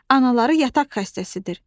Anaları yataq xəstəsidir.